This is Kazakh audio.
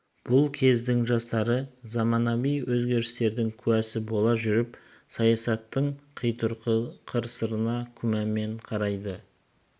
бұл кездің жастары заманауи өзгерістердің куәсі бола жүріп саясаттың құйтырқы сыры-қырына күмәнмен қарайды